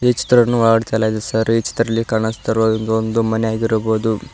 ಈ ಚಿತ್ರವನ್ನು ಒಳಗಡೆ ತೆಗೆಯಲಾಗಿದೆ ಸರ್ ಈ ಚಿತ್ರದ್ದಲ್ಲಿ ಕಾಣುಸ್ತಾಯಿರುವ ಒಂದು ಮನೆ ಆಗಿರಬಹುದು.